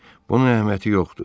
Bunun əhəmiyyəti yoxdur.